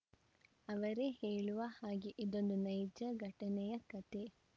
ಅವರೇ ಹೇಳುವ ಹಾಗೆ ಇದೊಂದು ನೈಜ ಘಟನೆಯ ಕತೆ